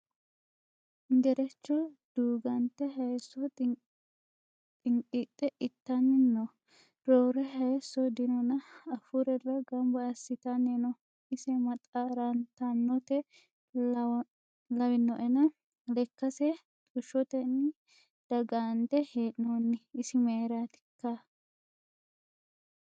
Gerecho dugununte hayiso xiqidhe itani no roore hayiso dinonna afurella gamba assittani no, ise maxartanote lawinoenna lekkase xushotenni dagande hee'nonni isi mayratikka ?